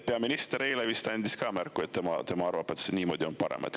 Peaminister vist andis ka eile märku, et temagi arvab, et niimoodi on parem.